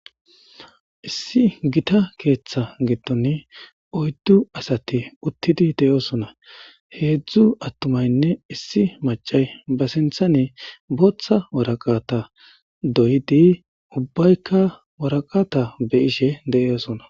Issi gita keeththa giddoni oyddu asati uttidi de7osona. Heedzdzu attumaynne issi macay ba sinthanee booththa waraqata doyidi ubbaykka waraqata be7ishe de7eosona.